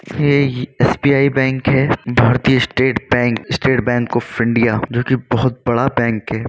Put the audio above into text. ये ई SBI bank है। भारतीय स्टेट बैंक ऑफ़ इंडिया जोकि बहुत बड़ा बैंक है।